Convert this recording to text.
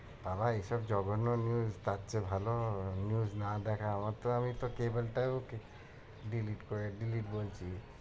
বাবা এই সব জঘন্য news তার চেয়ে ভাল news না দেখা আমার তো আমি তো cable টাও কে~ delete করে delete বলছি।